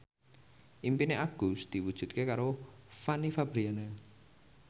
impine Agus diwujudke karo Fanny Fabriana